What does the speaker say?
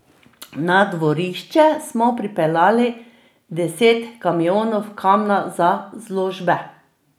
Na dvorišče smo pripeljali deset kamionov kamna za zložbe.